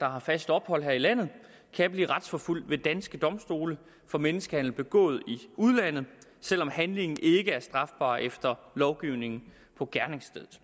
har fast ophold her i landet kan blive retsforfulgt ved danske domstole for menneskehandel begået i udlandet selv om handlingen ikke er strafbar efter lovgivningen på gerningsstedet